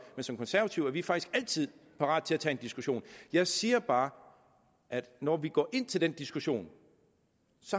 men som konservative er vi faktisk altid parate til en diskussion jeg siger bare at når vi går ind til den diskussion